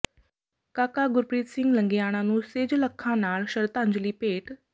ਕਾਕਾ ਗੁਰਪ੍ਰੀਤ ਸਿੰਘ ਲੰਗੇਆਣਾ ਨੂੰ ਸੇਜਲ ਅੱਖਾਂ ਨਾਲ ਸ਼ਰਧਾਂਜਲੀ ਭੇਟ